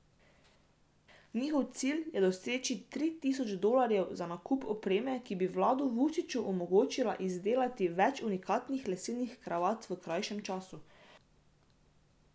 Njihov cilj je doseči tri tisoč dolarjev za nakup opreme, ki bi Vladu Vučiču omogočila izdelati več unikatnih lesenih kravat v krajšem času.